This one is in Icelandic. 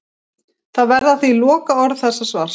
Það verða því lokaorð þessa svars.